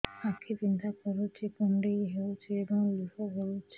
ଆଖି ବିନ୍ଧା କରୁଛି କୁଣ୍ଡେଇ ହେଉଛି ଏବଂ ଲୁହ ଗଳୁଛି